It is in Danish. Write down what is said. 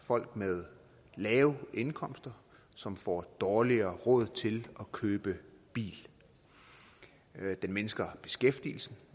folk med lave indkomster som får dårligere råd til at købe bil den mindsker beskæftigelsen